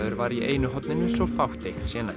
var í einu horninu svo fátt eitt sé nefnt